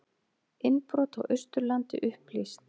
Innbrot á Austurlandi upplýst